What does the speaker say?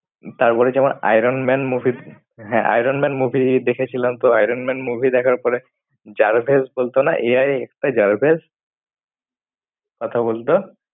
তারপরে যেমন Iron Man movie হ্যাঁ, Iron Man movie দেখেছিলাম, তো Iron Man movie দেখার পরে J. A. R. V. I. S. বলতো না AI একটা J. A. R. V. I. S. । কথা বলতো?